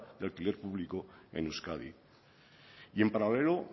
de alquiler público en euskadi y en paralelo